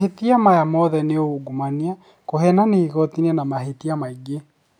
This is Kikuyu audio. Mahĩtia aya mothe nĩ ungumania, kuhenania igotinĩ na mahĩtia maingĩ